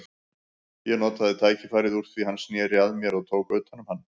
Ég notaði tækifærið úr því hann sneri að mér og tók utan um hann.